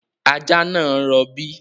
Ajá náà ń rọ̀bí